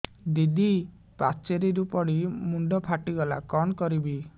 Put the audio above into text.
ଦିଦି ପାଚେରୀରୁ ପଡି ମୁଣ୍ଡ ଫାଟିଗଲା କଣ କରିବି